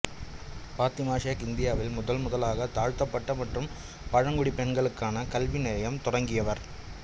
பாத்திமா ஷேக் இந்தியாவில் முதன்முதலாக தாழ்த்தப்பட்ட மற்றும் பழங்குடி பெண்களுக்கான கல்விநிலையம் தொடங்கியவர்